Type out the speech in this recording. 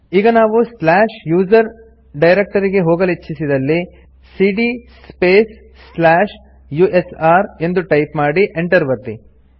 ಈಗ ನಾವು slash USR directory ಗೆ ಹೋಗಲಿಚ್ಛಿಸಿದಲ್ಲಿ ಸಿಡಿಯ ಸ್ಪೇಸ್ ಸ್ಲಾಶ್ ಯುಎಸ್ಆರ್ ಎಂದು ಟೈಪ್ ಮಾಡಿ Enter ಒತ್ತಿ